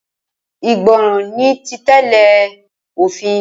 Ìgbọràn ni títẹ̀lé òfin.